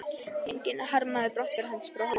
Enginn harmaði brottför hans frá Hólum.